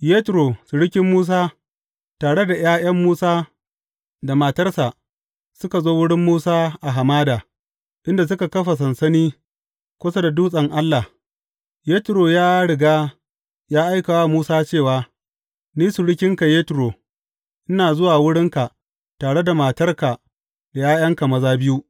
Yetro surukin Musa tare da ’ya’yan Musa da matarsa suka zo wurin Musa a hamada, inda suka kafa sansani kusa da dutsen Allah Yetro ya riga ya aika wa Musa cewa, Ni surukinka Yetro, ina zuwa wurinka tare da matarka da ’ya’yanka maza biyu.